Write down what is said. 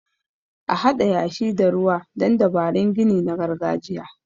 A Haɗa yashi da ruwa don dabarun gini na gargajiya.